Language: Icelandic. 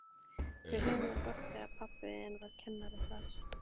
Við höfðum það gott þegar pabbi þinn var kennari þar.